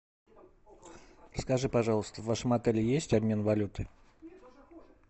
скажи пожалуйста в вашем отеле есть обмен валюты